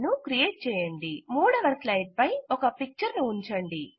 3వ స్లైడ్ పై ఒక పిక్చర్ ను ఉంచండి